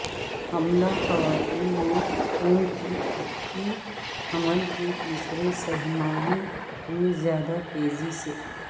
حاملہ خواتین میں خون کے تککی حمل کے تیسرے سہ ماہی میں زیادہ تیزی سے